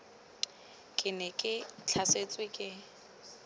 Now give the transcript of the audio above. ke ne ke tlhasetswe ke